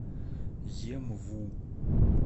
емву